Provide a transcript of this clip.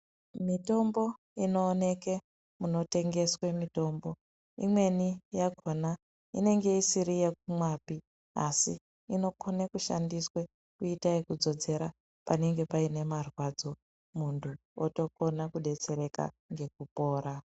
Mitombo inooneke munotengeswe mitombo imweni yakhona inenge isiri yekumwapi asi inokone kushandiswe kuita ekudzodzera panenge paine marwadzo muntu otokona kudetsereka ngekupora.